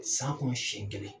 San kɔnɔ seɲɛn kelen.